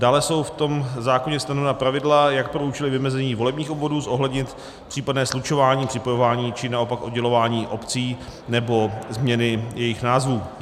Dále jsou v tom zákoně stanovena pravidla, jak pro účely vymezení volebních obvodů zohlednit případné slučování, připojování, či naopak oddělování obcí nebo změny jejich názvů.